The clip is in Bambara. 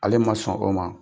Ale ma sɔn o ma